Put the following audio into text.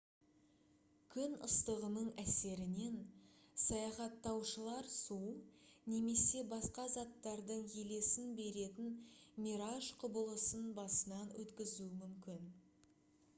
күн ыстығының әсерінен саяхаттаушылар су немесе басқа заттардың елесін беретін мираж құбылысын басынан өткізуі мүмкін